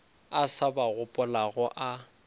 a sa ba gopolago a